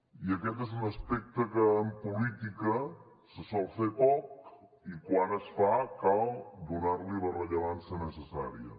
i aquest és un aspecte que en política se sol fer poc i quan es fa cal donar li la rellevància necessària